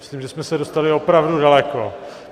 Myslím, že jsme se dostali opravdu daleko.